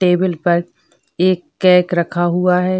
Table पर एक cake रखा हुआ है।